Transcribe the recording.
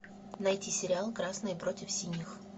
найти сериал красные против синих